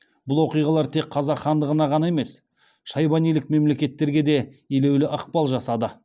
бұл оқиғалар тек қазақ хандығына ғана емес шайбанилік мемлекеттерге де елеулі ықпал жасады